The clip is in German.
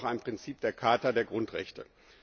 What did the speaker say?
Das ist ja auch ein Prinzip der Charta der Grundrechte.